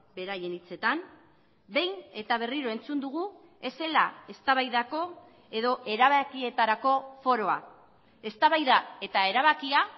beraien hitzetan behin eta berriro entzun dugu ez zela eztabaidako edo erabakietarako foroa eztabaida eta erabakia